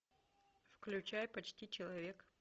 включай почти человек